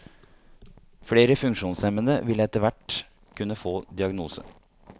Flere funksjonshemmede vil etterhvert kunne få diagnose.